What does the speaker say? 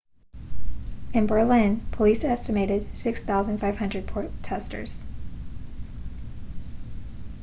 in berlin police estimated 6,500 protestors